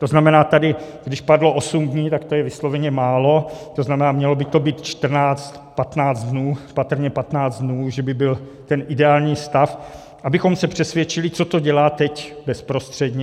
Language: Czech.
To znamená, když tady padlo osm dní, tak to je vysloveně málo, to znamená, mělo by to být čtrnáct, patnáct dnů, patrně patnáct dnů, že by byl ten ideální stav, abychom se přesvědčili, co to dělá teď bezprostředně.